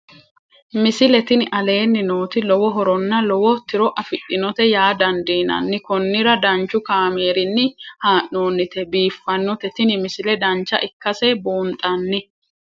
misile tini aleenni nooti lowo horonna lowo tiro afidhinote yaa dandiinanni konnira danchu kaameerinni haa'noonnite biiffannote tini misile dancha ikkase buunxanni